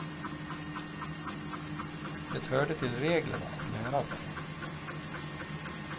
Det hörde till reglerna, att lära sig.